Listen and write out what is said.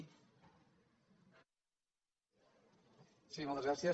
sí moltes gràcies